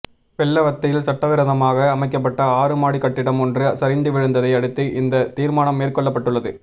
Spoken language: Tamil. வெள்ளவத்தையில் சட்டவிரோதமாக அமைக்கப்பட்ட ஆறு மாடிக் கட்டிடம் ஒன்று சரிந்து வீழ்ந்ததை அடுத்து இந்த தீர்மானம் மேற்கொள்ளப்பட்டுள்ளது